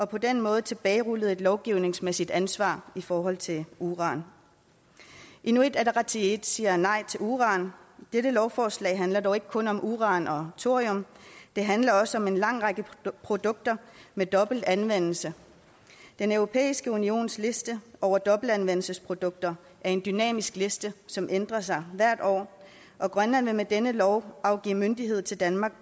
på den måde tilbagerullet et lovgivningsmæssigt ansvar i forhold til uran inuit ataqatigiit siger nej til uran dette lovforslag handler dog ikke kun om uran og thorium det handler også om en lang række produkter med dobbelt anvendelse den europæiske unions liste over dobbeltanvendelsesprodukter er en dynamisk liste som ændrer sig hvert år og grønland vil med denne lov afgive myndighed til danmark